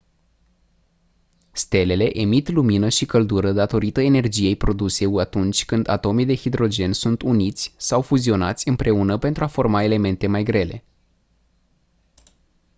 stelele emit lumină și căldură datorită energiei produse atunci când atomii de hidrogen sunt uniți sau fuzionați împreună pentru a forma elemente mai grele